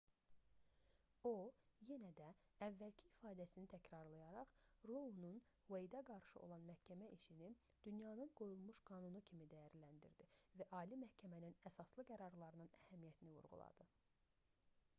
o yenə də əvvəlki ifadəsini təkrarlayaraq rounun ueydə qarşı olan məhkəmə işini dünyanın qoyulmuş qanunu kimi dəyərləndirdi və ali məhkəmənin əsaslı qərarlarının əhəmiyyətini vurğuladı